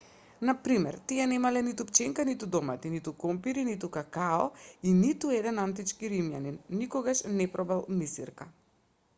на пример тие немале ниту пченка ниту домати ниту компири ниту какао и ниту еден антички римјанин никогаш не пробал мисирка